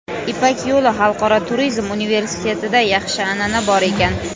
"Ipak yo‘li" Xalqaro turizm universitetida yaxshi an’ana bor ekan.